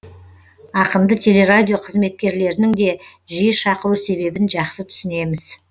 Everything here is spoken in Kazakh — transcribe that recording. ақынды телерадио қызметкерлерінің де жиі шақыру себебін жақсы түсінеміз